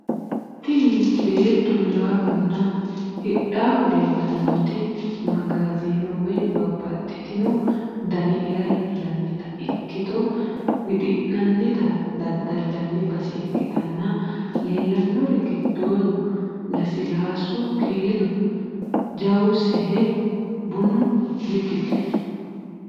Tini beettu hirahunna hidhahu leellannoti magazino woy babaxitinno dani hira intannita ikkito wixi'nannita daddalanni base ikkitana leellannori giddono, lasilasu, kiilo, juusewahe, bunu w.k.l .